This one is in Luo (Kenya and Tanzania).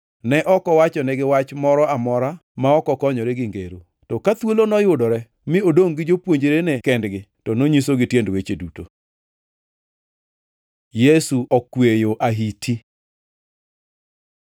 Ne ok owachonegi wach moro amora ma ok okonyore gi ngero. To ka thuolo noyudore mi odongʼ gi jopuonjrene kendgi to nonyisogi tiend weche duto. Yesu okweyo ahiti